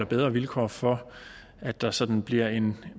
bedre vilkår for at der sådan bliver en